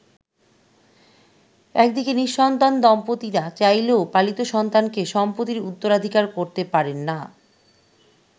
একদিকে নি:সন্তান দম্পতিরা চাইলেও পালিত সন্তানকে সম্পত্তির উত্তরাধিকার করতে পারেননা।